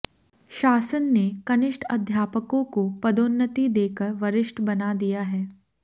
शासन ने कनिष्ठ अध्यापकों को पदोन्नति देकर वरिष्ठ बना दिया है